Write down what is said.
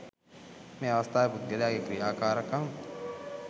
මේ අවස්ථාවේ පුද්ගලයාගේ ක්‍රියාකාරකම්